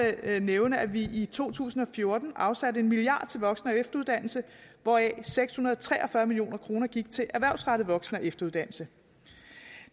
nævne at vi i to tusind og fjorten afsatte en milliard kroner til voksen og efteruddannelse hvoraf seks hundrede og tre og fyrre million kroner gik til erhvervsrettet voksen og efteruddannelse